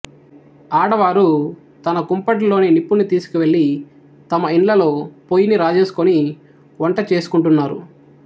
ఆడవారు తన కుంపటి లోని నిప్పును తీసుకెళ్ళి తమ ఇండ్లలో పొయ్యిని రాజేసుకొని వంట చేసుకుంటున్నారు